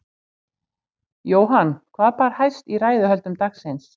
Jóhann, hvað bar hæst í ræðuhöldum dagsins?